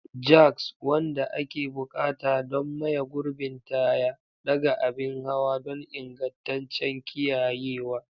Jacks, wanda ake buƙata don maye gurbin taya, ɗaga abin hawa don ingantaccen kiyayewa.